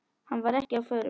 Hann var ekki á förum.